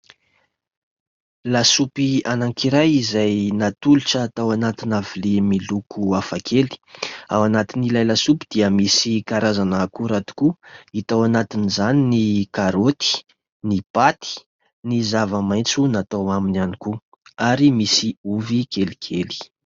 Lasopy anankiray izay natolotra tao anatina vilia miloko hafakely. Ao anatin'ilay lasopy dia misy karazana akora tokoa, hita ao anatin'izany ny karaoty, ny paty, ny zavamaitso natao aminy ihany koa ary misy ovy kelikely.